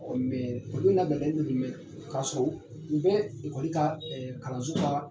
olu labɛnnen doni mɛ ka so, u bɛ ekɔli kaa kalanso kaa